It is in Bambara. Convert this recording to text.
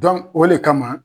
o de kama